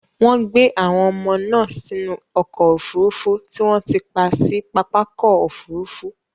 Wọ́n gbé àwọn ọmọ náà sínú ọkọ̀ òfurufú tí wọ́n ti pa sí pápákọ̀ òfurufú.